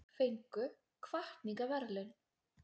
Fengu hvatningarverðlaun